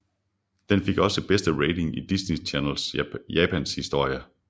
Den fik også den bedste rating i Disney Channel Japans historie